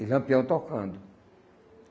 E Lampião tocando.